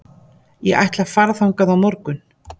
Ég ætla að fara þangað á morgun.